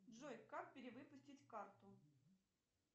джой как перевыпустить карту